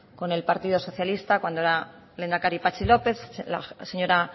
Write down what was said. con el partido socialista cuando era lehendakari patxi lópez la señora